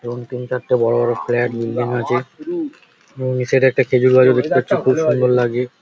এবং তিন চারটে বড় বড় ফ্ল্যাট নির্মাণ হয়েছে এবং এই সাইড -এ একটা খেজুর গাছ দেখতে পাচ্ছি খুব সুন্দর লাগে।